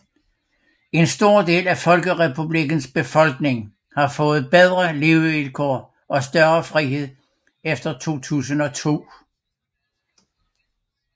En stor del af Folkerepublikkens befolkning har fået bedre levekår og større frihed efter 2002